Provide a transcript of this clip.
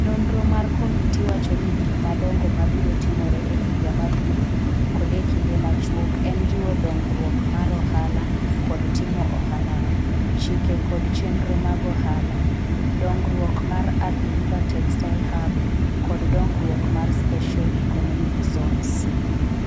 Nonro mar komiti wacho ni gik madongo mabiro timore e higa mabiro kod e kinde machuok en jiwo dongruok mar ohala kod timo ohalano, chike kod chenro mag ohala, dongruok mar Athi river textile hub kod dongruok mar Special Economic Zones (SEZs).